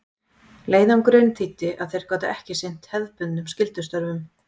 Leiðangurinn þýddi að þeir gátu ekki sinnt hefðbundnum skyldustörfum.